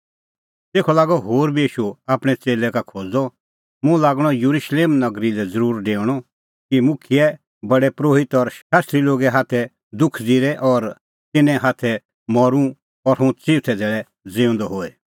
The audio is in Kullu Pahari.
तेखअ लागअ होर बी ईशू आपणैं च़ेल्लै का खोज़दअ मुंह लागणअ येरुशलेम नगरी लै ज़रूर डेऊणअ कि मुखियै प्रधान परोहित और शास्त्री लोगे हाथै दुख ज़िरे और तिन्नें हाथै मरूं और हुंह चिऊथै धैल़ै ज़िऊंदअ होए